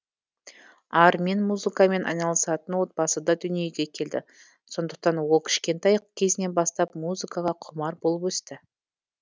армин музыкамен айналысатын отбасыда дүниеге келді сондықтан ол кішкентай кезінен бастап музыкаға құмар болып өсті